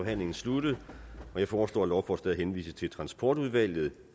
forhandlingen sluttet jeg foreslår at lovforslaget henvises til transportudvalget